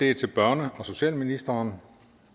er til børne og socialministeren